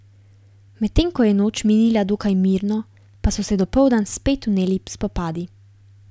Medtem ko je noč minila dokaj mirno, pa so se dopoldan spet vneli spopadi.